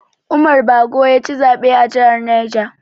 Umar Bago yaci zaɓe a jihar Niger.